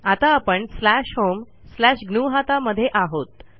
आता आपण slash home slash ग्नुहता मध्ये आहोत